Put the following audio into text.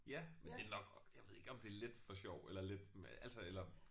Ja men det er nok jeg ved ikke om det er lidt for sjov eller lidt med altså eller